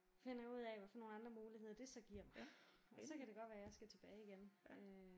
Finder jeg ud af hvad for nogle andre muligheder det så giver mig og så kan det godt være jeg skal tilbage igen øh